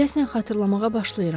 Deyəsən xatırlamağa başlayıram.